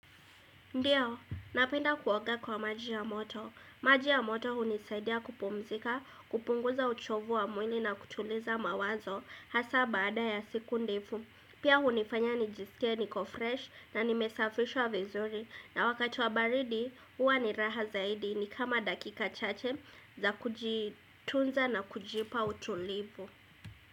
Ndio, napenda kuoga kwa majia moto. Maji ya moto hunisaidia kupumzika, kupunguza uchovu wa mwili na kutuliza mawazo hasa baada ya siku ndefu. Pia hunifanya nijisikie niko fresh na nimesafishwa vizuri na wakati wa baridi huwa ni raha zaidi ni kama dakika chache za kujitunza na kujipa utulivu.